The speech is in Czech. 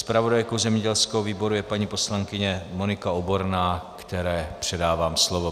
Zpravodajkou zemědělského výboru je paní poslankyně Monika Oborná, které předávám slovo.